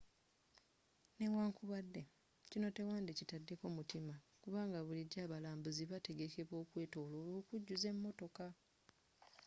newankubadde kino tewandi kitaddeko mutima kubanga bulijjo abalambuuzi bategekebwa okwetoloola okujjuza emotoka